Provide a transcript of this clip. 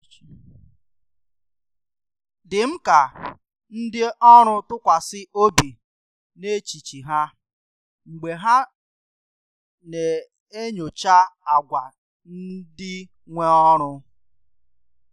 dị mkà ka ndị òrụ́ tụkwàsị obi n’echìchì ha mgbe ha na-enyocha agwa ndị nwe òrụ́